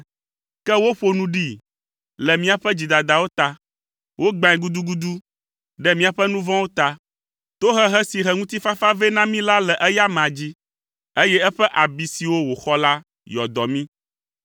Ke woƒo nu ɖee le míaƒe dzidadawo ta. Wogbãe gudugudu ɖe míaƒe nu vɔ̃wo ta. Tohehe si he ŋutifafa vɛ na mí la le eya amea dzi, eye eƒe abi siwo wòxɔ la yɔ dɔ mí.